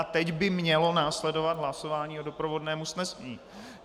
A teď by mělo následovat hlasování o doprovodném usnesení.